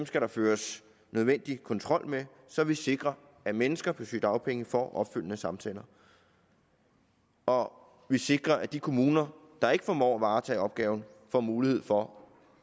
skal der føres nødvendig kontrol med så vi sikrer at mennesker på sygedagpenge får opfølgende samtaler og vi sikrer at de kommuner der ikke formår at varetage opgaven får mulighed for